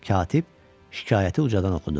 Katib şikayəti ucadan oxudu.